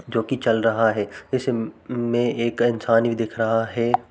जोकि चल रहा है। इस म् में एक इंसान भी दिख रहा है।